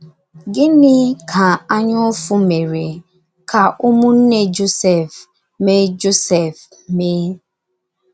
Gịnị ka anyaụfụ mere ka ụmụnne Josef mee Josef mee?